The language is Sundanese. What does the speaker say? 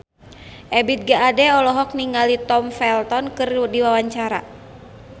Ebith G. Ade olohok ningali Tom Felton keur diwawancara